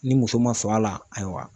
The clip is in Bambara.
Ni muso ma sɔn a la ayiwa